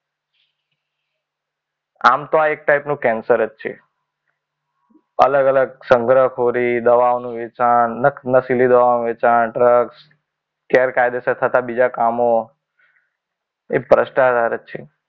આમ તો આ એક ટાઈપનું કેન્સર જ છે. અલગ અલગ સંગ્રહખોરી હોય, દવાઓનું વ્યસન, નસીલી દવાઓનું વેચાણ, ડ્રગ્સ, ગેરકાયદેસર થતા બીજા કામો એ ભ્રષ્ટાચાર જ છે